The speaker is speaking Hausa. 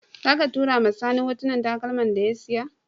Zaka tura wa sani hotunan takalman da ya siya?